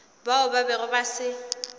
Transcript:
bao ba bego ba se